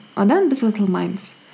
одан біз ұтылмаймыз